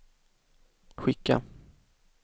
skicka